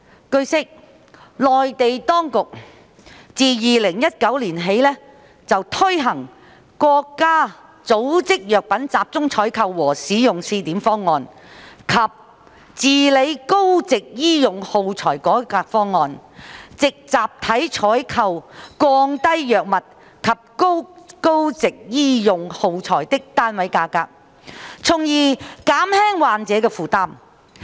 據悉，內地當局自2019年起推行《國家組織藥品集中採購和使用試點方案》及《治理高值醫用耗材改革方案》，藉集體採購降低藥物及高值醫用耗材的單位價格，從而減輕患者的負擔。